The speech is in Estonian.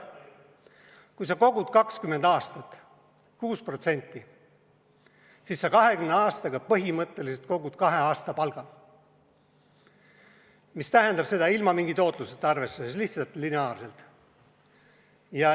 Kui sa kogud 20 aastat 6%, siis sa 20 aastaga põhimõtteliselt kogud kahe aasta palga, ilma mingi tootluseta arvestades, lihtsalt lineaarselt.